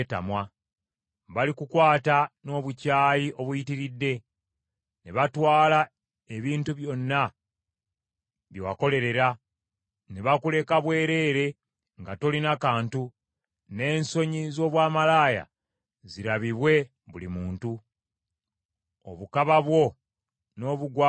Balikukwata n’obukyayi obuyitiridde, ne batwala ebintu byonna bye wakolerera, ne bakuleka bwereere nga tolina kantu, n’ensonyi z’obwamalaaya zirabibwe buli muntu. Obukaba bwo n’obugwagwa bwo